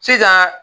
Sisan